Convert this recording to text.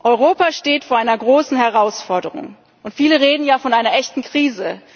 Europa steht vor einer großen Herausforderung, und viele reden sogar von einer echten Krise.